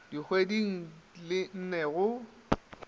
dikgweding di le nne go